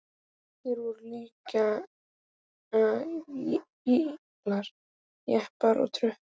Hér voru líka herbílar, jeppar og trukkar.